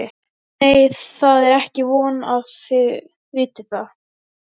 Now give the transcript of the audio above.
Nei, það er ekki von að þið vitið það.